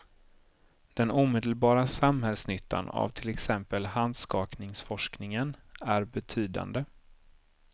Den omedelbara samhällsnyttan av till exempel handskakningsforskningen är betydande.